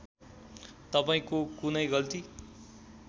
तपाईँको कुनै गल्ती